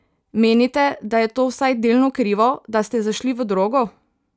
Menite, da je to vsaj delno krivo, da ste zašli v drogo?